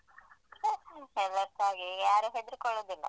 ಎಲ್ರಸ ಹಾಗೆ ಯಾರು ಹೆದ್ರುಕೊಳ್ಳುದಿಲ್ಲ.